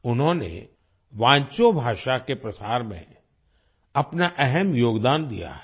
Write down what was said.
उन्होंने वांचो भाषा के प्रसार में अपना अहम योगदान दिया है